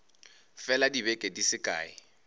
fela dibeke di se kae